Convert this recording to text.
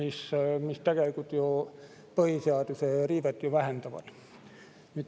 See tegelikult põhiseaduse riivet ju vähendab.